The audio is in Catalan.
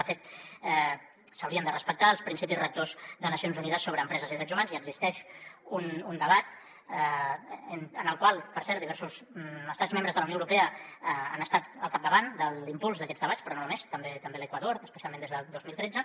de fet s’haurien de respectar els principis rectors de nacions unides sobre empreses i drets humans i existeix un debat en el qual per cert diversos estats membres de la unió europea han estat al capdavant de l’impuls d’aquests debats però no només també l’equador especialment des del dos mil tretze